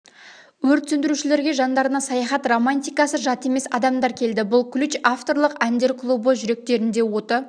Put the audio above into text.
өрт сөндірушілерге жандарына саяхат романтикасы жат емес адамдар келді бұл ключ авторлық әндер клубы жүректерінде оты